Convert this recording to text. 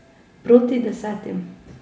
Proti desetim ...